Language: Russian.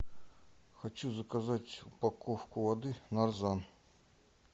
хочу заказать упаковку воды нарзан